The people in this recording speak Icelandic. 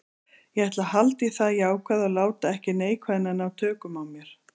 Ég ætla að halda í það jákvæða og láta ekki neikvæðnina ná tökum á mér.